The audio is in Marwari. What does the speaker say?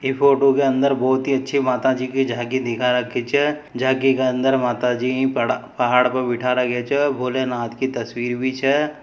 ई फोटो के अन्दर बहुत ही अच्छी माता जी की झांकी दिखा राखी छ झाकी के अन्दर माताजी पहाड़ पर बेठा रखी छे भोले नाथ की तश्वीर भी छे।